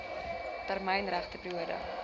termyn regte periode